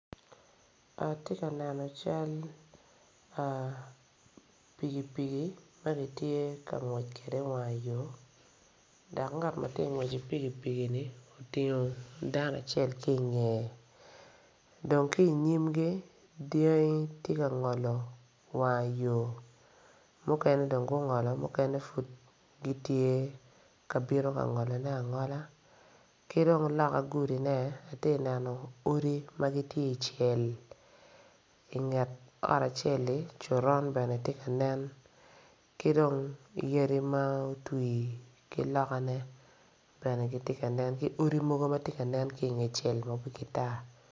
Ati ka neno cal pikipiki ma ki tye ka ngwec kwede i wanga yo dak ngat ma tye ka ngwec ki pigipig-ni otingo danoacel ki ingeye dong ki inyimgi dyangi ti ka ngolo wang ayo mukene dong gungolo mukene pud gitye ka bino ka ngolone angola ki dong loka gudine ati ka neno odi ma gitye icel inget ot acel-li coron bene ti nen ki dong yadi ma otwi ki lokane bene giti ka nen ki odi mogo ma ti ka nen ki inge cel ma wigi tar